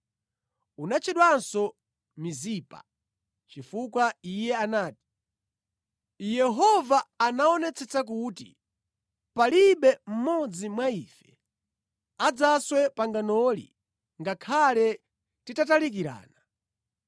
Unatchedwanso Mizipa, chifukwa iye anati, “Yehova aonetsetsa kuti palibe mmodzi mwa ife adzaswe panganoli ngakhale titatalikirana.